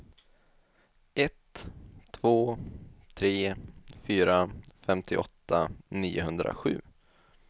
ett två tre fyra femtioåtta niohundrasju